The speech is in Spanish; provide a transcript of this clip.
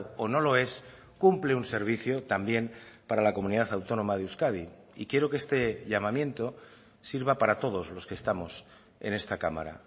o no lo es cumple un servicio también para la comunidad autónoma de euskadi y quiero que este llamamiento sirva para todos los que estamos en esta cámara